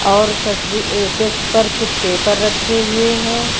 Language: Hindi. और तस्वी अह डेस्क पर कुछ पेपर रखे हुए हैं।